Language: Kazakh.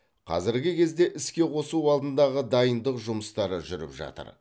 қазіргі кезде іске қосу алдындағы дайындық жұмыстары жүріп жатыр